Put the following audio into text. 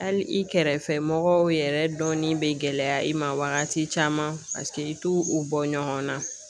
Hali i kɛrɛfɛ mɔgɔw yɛrɛ dɔnni bɛ gɛlɛya i ma wagati caman paseke i t'u u bɔ ɲɔgɔnna .